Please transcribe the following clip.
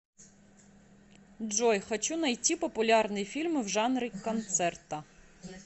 джой хочу найти популярные фильмы в жанре концерта